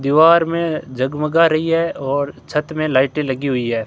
दीवार में झगमगा रही है और छत में लाइटें लगी हुई है।